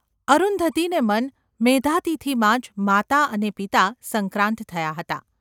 અરુંધતીને મન મેધાતિથિમાં જ માતા અને પિતા સંક્રાંત થયાં હતાં.